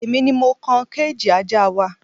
Èmi ni mo kan kéèjì ajá wa